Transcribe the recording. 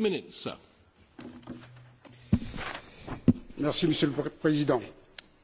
Monsieur le Président,